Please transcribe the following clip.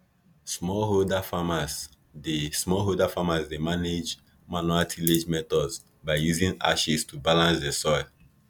smallholder farmers dey smallholder farmers dey manage manual tillage methods by using ashes to balance the soil